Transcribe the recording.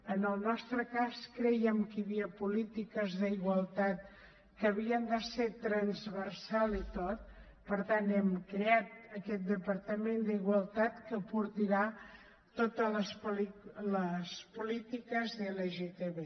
en el nostre cas crèiem que hi havia polítiques d’igualtat que havien de ser transversals per tant hem creat aquest departament d’igualtat que portarà totes les polítiques de lgtb